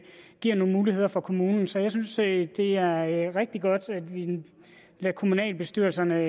giver nogle muligheder for kommunen så jeg synes at det er rigtig godt at vi lader kommunalbestyrelserne